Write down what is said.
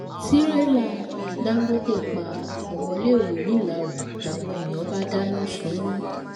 tírélà dángọte pa ọmọléèwé ńìlárò làwọn èèyàn bá dáná sun ún